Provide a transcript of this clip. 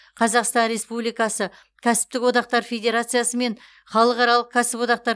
қазақстан республикасы кәсіптік одақтар федерациясы мен халықаралық кәсіподақтар